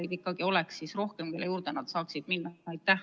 Mida teha, et psühhiaatreid, kelle juurde nad saaksid minna, oleks rohkem?